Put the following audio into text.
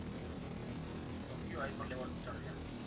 તો કયો iPhone લેવાનો વિચાર છે આમ.